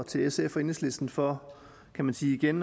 til sf og enhedslisten for kan man sige igen